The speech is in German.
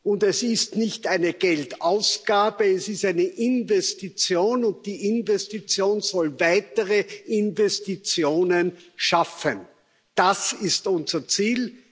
Und das ist nicht eine Geldausgabe, es ist eine Investition, und die Investition soll weitere Investitionen schaffen. Das ist unser Ziel.